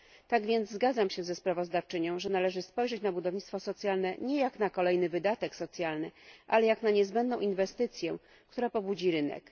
Tak więc zgadzam się ze sprawozdawczynią, że należy spojrzeć na budownictwo socjalne nie jak na kolejny wydatek socjalny, ale jak na niezbędną inwestycję, która pobudzi rynek.